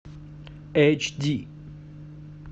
эйч ди